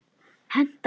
Hentar það?